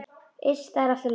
Iss, það er allt í lagi.